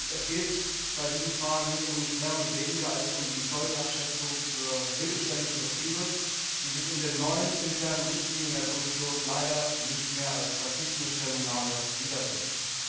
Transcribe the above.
Es geht dabei um nicht mehr und nicht weniger als um die Folgenabschätzung für mittelständische Betriebe, die sich in den neuen internen Richtlinien der Kommission leider nicht mehr als verpflichtende Stellungnahme wiederfinden.